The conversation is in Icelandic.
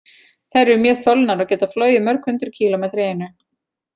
Þær eru mjög þolnar og geta flogið mörg hundruð kílómetra í einu.